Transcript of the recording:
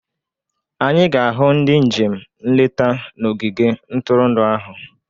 Anyị ga-ahụ ndị njem nleta na ogige ntụrụndụ ahụ